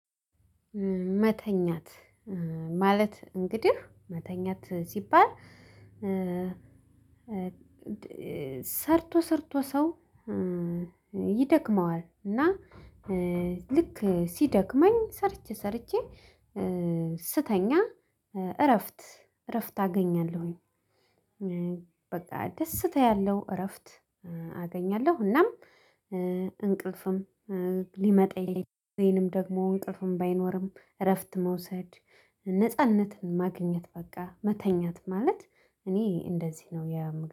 መተኛት ማለት እንግዲህ መተኛት ሲባል። ሰርቶ ሰርቶ ሰው ይደክመዋል። እና ልክ ሲደክመኝ ሰርቼ ሰርቼ ስተኛ እረፍት እረፍት አገኛለሁኝ። በቃ ደስ ታያለሁ እረፍት አገኛለሁ። እናም እንቅልፍም ሊመጣ ይለኛል። ወይንም ደግሞ እንቅልፍም ባይኖርም እረፍት መውሰድ ነጻነትን ማግኘት በቃ መተኛት ማለት እኔ እንደዚህ ነው የ